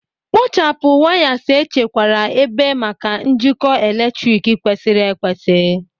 Kpochapụ wires echekwara ebe maka njikọ eletrik kwesịrị ekwesị.